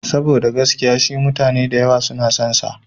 Saboda gaskiya shi mutane da yawa suna son sa.